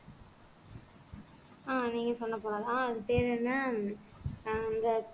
அஹ் நீங்க சொன்ன போலத்தான் அது பேரு என்ன இந்த